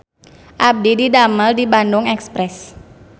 Abdi didamel di Bandung Express